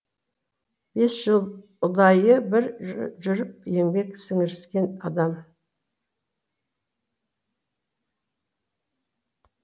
бес жыл ұдайы бір жүріп еңбек сіңіріскен адам